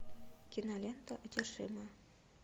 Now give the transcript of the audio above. кинолента одержимая